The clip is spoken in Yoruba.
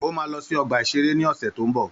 Ó ma lọ sí ọgbà-ìṣeré ni ọ̀sẹ̀ tó ń bọ̀